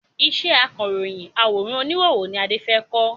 Ìṣe akáròyìn àwòrán oníhòòhò ni Adé fẹ kọ́